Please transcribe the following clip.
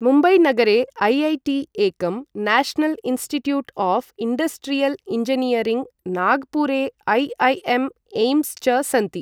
मुम्बईनगरे IIT एकं national institute of industrial engineering, नागपुरे IIM AIIMS च सन्ति।